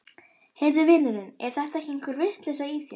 Heyrðu vinurinn, er þetta ekki einhver vitleysa í þér?